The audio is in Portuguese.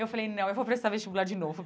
Eu falei, não, eu vou prestar vestibular de novo.